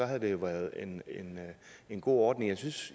havde det jo været en en god ordning jeg synes